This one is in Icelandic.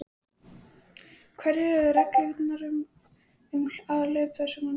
Hverjar eru reglurnar um aðhlaup þess sem tekur vítaspyrnu?